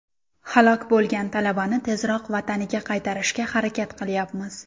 Halok bo‘lgan talabani tezroq vataniga qaytarishga harakat qilayapmiz.